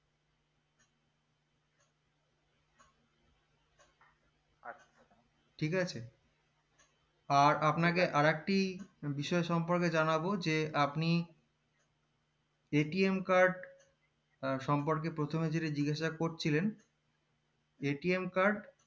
ঠিক আছে আর আপনাকে আর একটি বিষয় সম্পর্কে জানাবো যে আপনি card সম্পর্কে প্রথমে যেটা জিজ্ঞাসা করছিলেন card